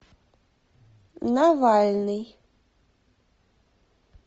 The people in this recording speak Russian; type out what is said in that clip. навальный